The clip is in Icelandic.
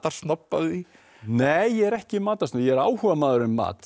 því nei ég er ekki matarsnobb ég er áhugamaður um mat